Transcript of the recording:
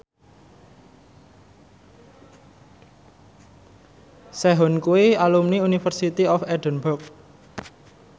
Sehun kuwi alumni University of Edinburgh